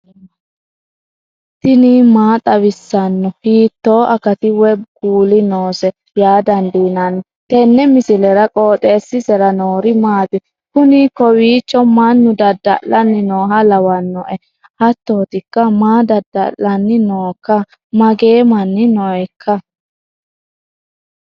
tini maa xawissanno ? hiitto akati woy kuuli noose yaa dandiinanni tenne misilera? qooxeessisera noori maati? kuni kowiicho mannu dada'lanni nooha lawannoena hattootikka maa dada'lanni nooikka magee manni nooikka